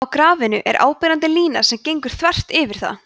á grafinu er áberandi lína sem gengur þvert yfir það